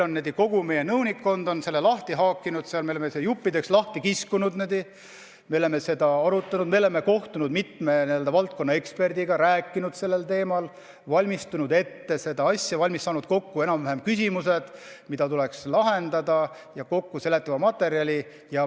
Kogu meie nõunikkond on selle lahti haakinud, me oleme selle juppideks lahti kiskunud, me oleme seda arutanud, me oleme kohtunud mitme valdkonna ekspertidega ja rääkinud sellel teemal, valmistanud ette seda asja, saanud enam-vähem kokku küsimused, mis tuleks lahendada, ja kokku seada seletava materjali.